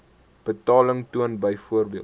betaling toon byvoorbeeld